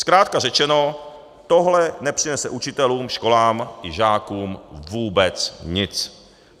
Zkrátka řečeno, tohle nepřinese učitelům, školám i žákům vůbec nic.